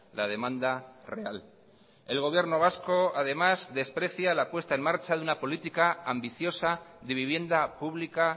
la demanda real el gobierno vasco además desprecia la puesta en marcha de una política ambiciosa de vivienda pública